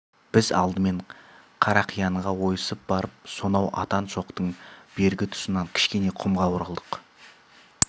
біз алдымен қарақиянға ойысып барып сонау атан шоқының бергі тұсынан кішкене құмға оралдық